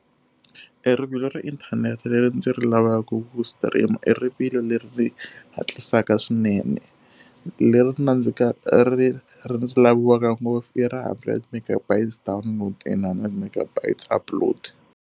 E rivilo ra inthanete leri ndzi ri lavaku stream-a i rivilo leri ri hatlisaka swinene. Leri ri ri ri laviwaka ngopfu i ra hundred megabytes download and hundred megabytes upload.